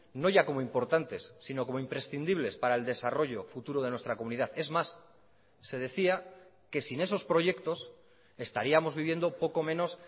no ya como importantes sino como imprescindibles para el desarrollo futuro de nuestra comunidad es más se decía que sin esos proyectos estaríamos viviendo poco menos